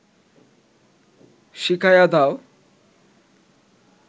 শিখায়া দাও